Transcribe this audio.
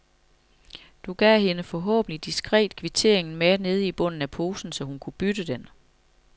Du gav hende forhåbentlig diskret kvitteringen med nede i bunden af posen, så hun kunne bytte den?